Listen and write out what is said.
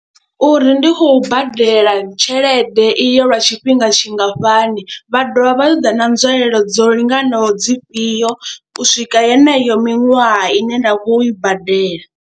Uri ndi khou badela tshelede iyo lwa tshifhinga tshingafhani vha dovha vha ṱoḓa na nzwalelo dzo linganaho dzifhio u swika heneyo miṅwaha ine nda khou i badela.